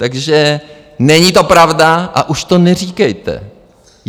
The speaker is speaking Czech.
Takže není to pravda a už to neříkejte!